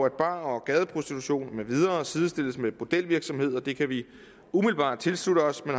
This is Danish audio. at bar og gadeprostitution med videre sidestilles med bordelvirksomhed det kan vi umiddelbart tilslutte os men